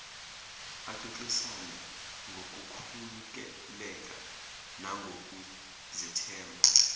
axoxisane ngokukhululeka nangokuzethemba